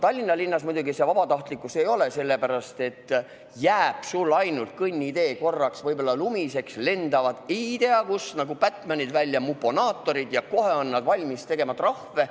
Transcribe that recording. Tallinna linnas muidugi see vabatahtlik ei ole – jääb sul ainult korraks kõnnitee lumiseks, lendavad nagu Batmanid välja ei tea kust ilmunud muponaatorid ja kohe on nad valmis tegema trahve.